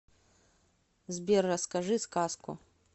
сбер расскажи сказку